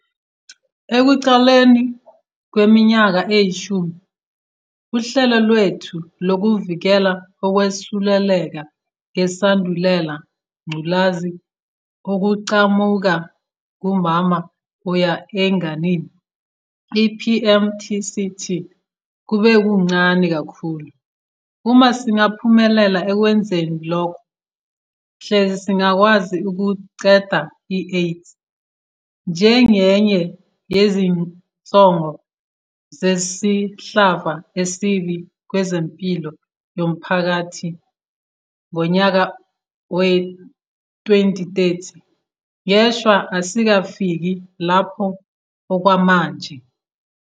Ekuqaleni kweminyaka eyishumi, uhlelo lwethu lokuvikela ukwesuleleka ngeSandulela ngculazi okuqhamuka kumama kuya enganeni, i-PMTCT, kube kuncane kakhulu. Uma singaphumelela ekwenzeni lokho, hleze singakwazi ukuqeda i-AIDS njengenye yezinsongo zesihlava esibi kwezempilo yomphakathi ngonyaka wezi-2030. Ngeshwa, asikafiki lapho okwamanje.